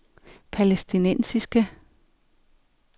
palæstinensiske